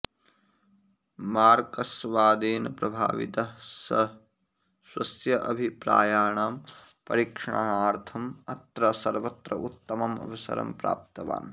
मार्क्सवादेन प्रभावितः सः स्वस्य अभिप्रायाणां परीक्षणार्थं अत्र सर्वत्र उत्तमम् अवसरं प्राप्तवान्